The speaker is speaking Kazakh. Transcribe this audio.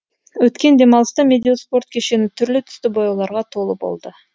өткен демалыста медеу спорт кешені түрлі түсті бояуларға толы болды